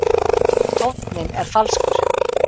Tónninn er falskur.